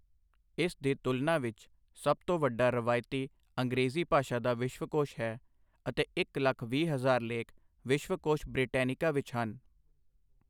ਇਸ ਦੀ ਤੁਲਨਾ ਵਿੱਚ, ਸਭ ਤੋਂ ਵੱਡਾ ਰਵਾਇਤੀ ਅੰਗਰੇਜ਼ੀ ਭਾਸ਼ਾ ਦਾ ਵਿਸ਼ਵਕੋਸ਼ ਹੈ, ਅਤੇ ਇੱਕ ਲੱਖ ਵੀਹ ਹਜ਼ਾਰ ਲੇਖ ਵਿਸ਼ਵਕੋਸ਼ ਬ੍ਰਿਟੈਨਿਕਾ ਵਿੱਚ ਹਨ।